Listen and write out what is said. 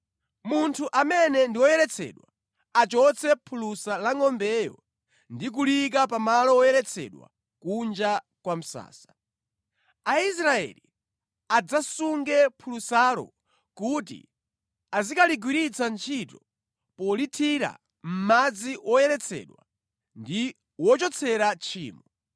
“Munthu amene ndi woyeretsedwa achotse phulusa la ngʼombeyo ndi kuliyika pa malo woyeretsedwa kunja kwa msasa. Aisraeli adzasunge phulusalo kuti azikaligwiritsa ntchito polithira mʼmadzi woyeretsera ndi wochotsera tchimo.